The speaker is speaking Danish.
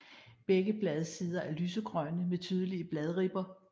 Begge bladsider er lysegrønne med tydelige bladribber